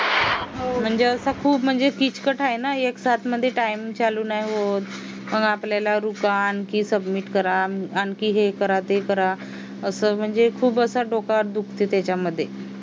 म्हणजे असं खूप म्हणजे किचकट आहे ना एक साथ मध्ये time चालू नाही होत मग आपल्याला रुका आणखी आणखी हे submit हे करा ते करा असं म्हणजे खूप असं